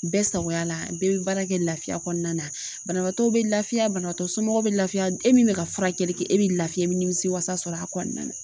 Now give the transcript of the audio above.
Bɛɛ sagoya la bɛɛ bɛ baara kɛ laafiya kɔnɔna na banabagatɔ bɛ lafiya banabatɔ somɔgɔw bɛ lafiya e min bɛ ka furakɛli kɛ e bɛ lafiya ni nimisiwasa sɔrɔ a kɔnɔna na